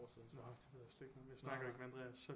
Nåh det ved jeg slet ikke noget om jeg snakker ikke med Andreas